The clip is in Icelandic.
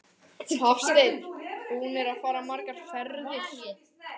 Hafsteinn: Búnir að fara margar ferðir?